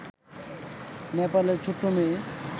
নেপালের ছোট্ট মেয়ে